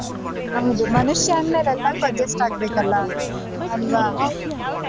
ಹೌದು ಮನುಷ್ಯ ಅಂದ್ಮೇಲೆ ಎಲ್ಲಕ್ಕೂ adjust ಆಗ್ಬೇಕು ಅಲ್ವಾ ಅಲ್ವಾ.